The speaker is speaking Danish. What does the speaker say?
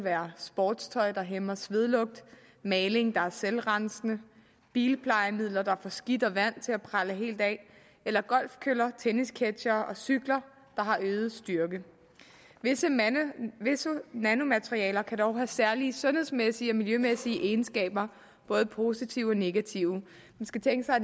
er sportstøj der hæmmer svedlugt maling der er selvrensende bilplejemidler der får skidt og vand til at prelle helt af eller golfkøller tennisketchere og cykler der har øget styrke visse nanomaterialer kan dog have særlige sundhedsmæssige og miljømæssige egenskaber både positive og negative man skal tænke sig